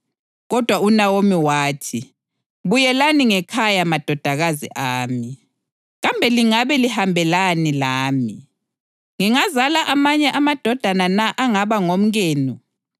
Kodwa uNawomi wathi, “Buyelani ngekhaya madodakazi ami. Kambe lingabe lihambelani lami? Ngingazala amanye amadodana na angaba ngomkenu?